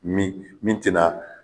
Min min tɛna